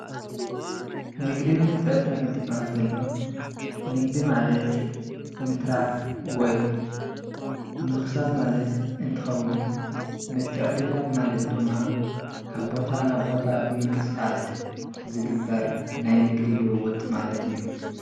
ንግድን ምትዕድዳግን እንትብሃል ተሎ ንግዲ ማለት ምትራፍ ወይ ምኽሳብ ማለት እንትኸዉን ምትዕድዳግ ማለት ድማ ካብ ቦታ ናብ ቦታ ብምንቅስቓስ ዝግበር ናይ ንግዲ ልዉዉጥ ማለት እዩ፡፡